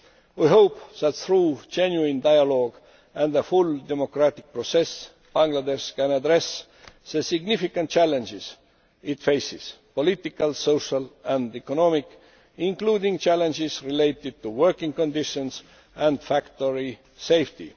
We hope that, through genuine dialogue and a full democratic process, Bangladesh can address the significant challenges it faces political, social and economic including challenges related to working conditions and factory safety.